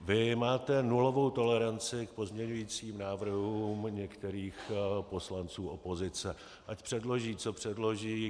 Vy máte nulovou toleranci k pozměňovacím návrhům některých poslanců opozice, ať předloží, co předloží.